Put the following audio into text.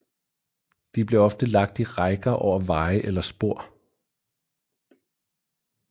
De blev ofte lagt i rækker over veje eller spor